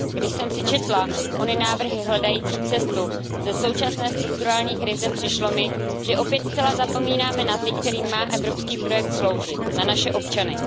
Když jsem si četla ony návrhy hledající cestu ze současné strukturální krize, přišlo mi, že opět zcela zapomínáme na ty, kterým má evropský projekt sloužit, na naše občany.